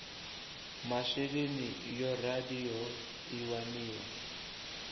masheleni yo raliho i waniwa